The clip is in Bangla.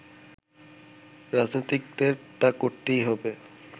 রাজনীতিকদের তা করতেই হবে